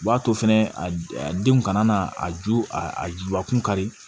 U b'a to fɛnɛ a denw kana na a ju a juba kun kari